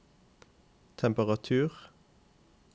temperatur